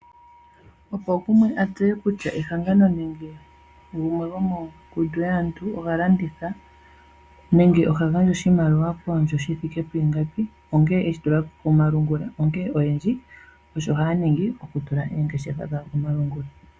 Opo gumwe a tseye kutya ehangano nenge gumwe gomongundu yaantu oha landitha nenge oha gandja oshimaliwa koondjo shi thike pu ingapi ongele eshi tula komalungula. Onkene aantu oyendji osho haya ningi okutula oongeshefa dhawo komalungula.